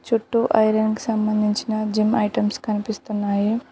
చుట్టూ ఐరన్ కి సంబంధించిన జిమ్ ఐటమ్స్ కనిపిస్తున్నాయి.